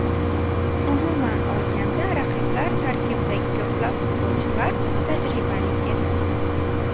Umuman olganda raqiblar tarkibidagi ko‘plab futbolchilar tajribali edi.